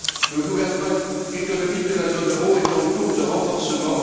Le gouvernement économique de la zone euro est en cours de renforcement.